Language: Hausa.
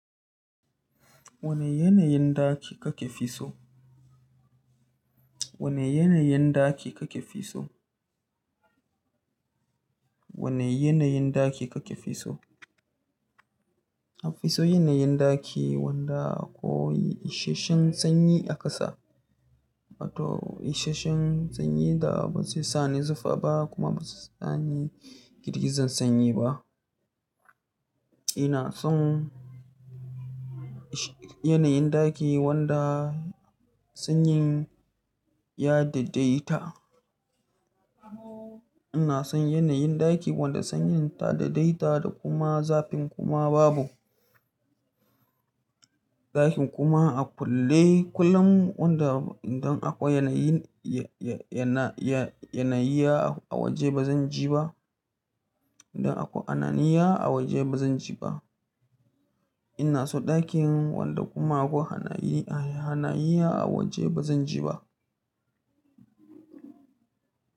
Wane yanayin ɗaki kake fi so? Wane yanayin ɗaki kake fi so? Wane yanayin ɗaki kake fi so? Na fi so yanayin ɗaki wanda akwai isasshen sanyi a ƙasa. To isasshen sanyi da ba zai sa ni zufa ba kuma ba zai sa ni girgizan sanyi ba. Ina son yanayin ɗaki wanda sanyin ya dadaita. Ina son yanayin ɗaki wanda sanyin ta dadaita da kuma zafin kuma babu. Ɗakin kuma a kulle kullum wanda idan akwai yanayi, yana, yanayi a waje ba zan ji ba. Inda akwai hananiya a waje ba zan ji ba. Ina so ɗakin wanda kuma akwai hanayi, hananiya a waje ba zan ji ba.